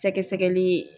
Sɛgɛsɛgɛli